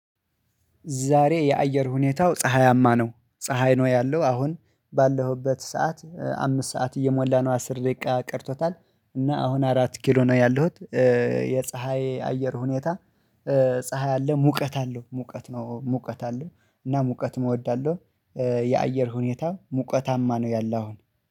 ዛሬ የአየር ሁኔታው ፀሀያማ ነው። ፀሀይ ነው ያለው አሁን ባለሁበት ሰዓት አምስት ሰዓት እየሞላ ነው አስር ደቂቃ ቀርቶታል። እና አሁን አራት ኪሎ ነው ያለሁት፤ የፀሀይ አየር ሁኔታ ፀሀይ አለ ሙቀት አለው፤ ሙቀት ነው ሙቀት አለው እና ሙቀት እወዳለሁ፤ የአየር ሁኔታ ሙቀታማ ነው ያለው አሁን።